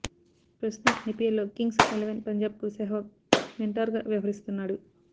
ప్రస్తుతం ఐపీఎల్ లో Kings Eleven Punjab కు సెహ్వాగ్ మెంటార్ గా వ్యవహరిస్తున్నాడు